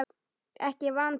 Ekki vantrú.